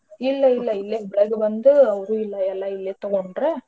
ಇಲ್ಲಇಲ್ಲ ಇಲ್ಲೆ ಹುಬ್ಳ್ಯಾಗ ಬಂದೂ ಅವ್ರು ಇಲ್ಲ ಎಲ್ಲಾ ಇಲ್ಲೆ ತಗೊಂಡ್ರ.